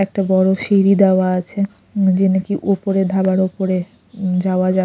একটা বড় সিঁড়ি দেওয়া আছে যে নাকি ওপরে ধাবার ওপরে যাওয়া যা--